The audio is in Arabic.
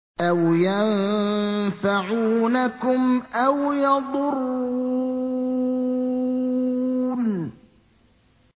أَوْ يَنفَعُونَكُمْ أَوْ يَضُرُّونَ